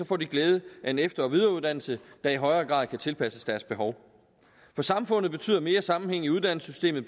får de glæde af en efter og videreuddannelse der i højere grad kan tilpasses deres behov for samfundet betyder mere sammenhæng i uddannelsessystemet